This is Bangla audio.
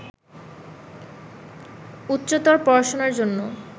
উচ্চতর পড়াশোনার জন্য